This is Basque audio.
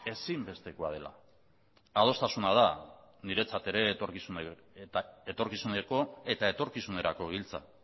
ezinbestekoa dela adostasuna da niretzat ere etorkizuneko eta etorkizunerako giltza